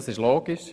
Das ist logisch.